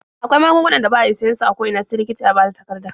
Akwai magungunan da ba a iya siyan su a ko ina sai likita ya bada takarda.